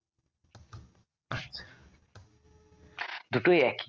দুটোই একই